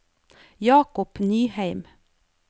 Jakob Nyheim